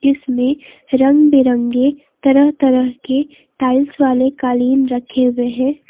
इसमें रंग बिरंगे तरह तरह के टाइल्स वाले कालीन रखे हुए हैं।